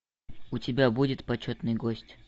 у тебя будет почетный гость